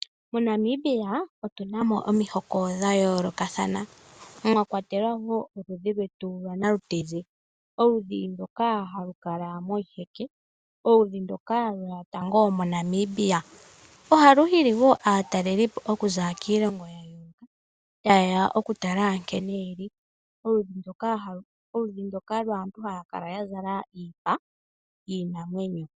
MoNamibia otu na mo omihoko dhayoolokathana mwa kwatelwa wo oludhi lwetu lwanalutezi. Oludhi ndoka halu kala moshiheke , oludhi ndoka lweya tango moNamibia. Ohalu hili wo aatalelipo okuza kiilongo niilongo ta yeya okutala nkene ye li. Oludhi ndoka lwaantu haya kala ya zala iipa yiinamwenyo.